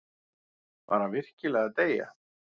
Var hann virkilega að deyja?